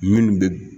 Minnu bɛ